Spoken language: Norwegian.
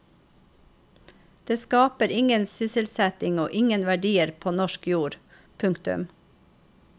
Det skaper ingen sysselsetting og ingen verdier på norsk jord. punktum